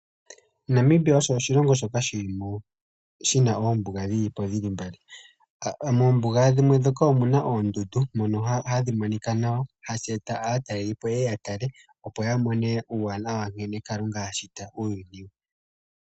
Namibia osho oshilongo shoka shina oombuga dhili mbali. Moombuga dhimwe omuna oondundu dhono hadhi monika nawa no hashi etitha aatalelipo yeye ya tale opo ya mone uuwanawa ngene Kalunga ashita uuyuni.